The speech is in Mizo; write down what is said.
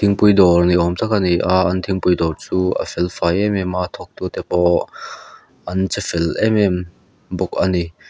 thingpui dawr ni awm tak ani a an thingpui dawr chu a felfai em em a a thawk tu te pawh an che fel emem bawk ani.